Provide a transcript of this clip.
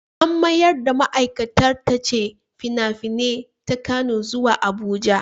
An mayar da ma'aikatar tace fina-finai ta Kano zuwa Abuja.